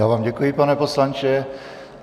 Já vám děkuji, pane poslanče.